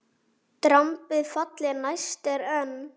Drambið falli næst er enn.